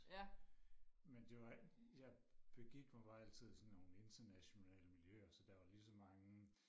men det var jeg begik mig bare altid i sådan nogle internationale miljøer så der var lige så mange